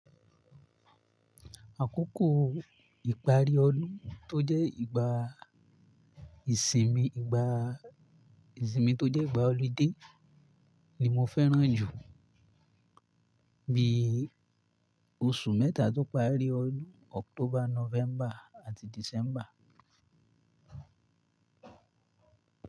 Àkókò ìparí ọdún tó jẹ́ ìgbà ìsinmi, ìgbà ìsinmi tó jẹ́ ìgbà holiday ni mo fẹ́ràn jù bí oṣù mẹ́ta tó parí ọdún October, November àti December.